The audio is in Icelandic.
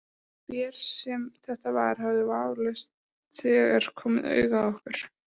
Hver sem þetta var hafði vafalaust þegar komið auga á okkur.